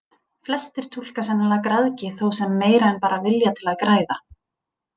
Flestir túlka sennilega græðgi þó sem meira en bara vilja til að græða.